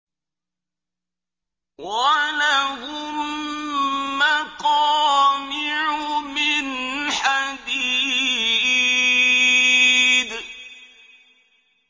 وَلَهُم مَّقَامِعُ مِنْ حَدِيدٍ